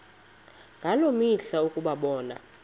ngaloo mihla ukubonana